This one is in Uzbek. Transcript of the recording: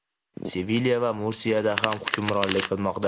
Sevilya va Mursiyada ham hukmronlik qilmoqda.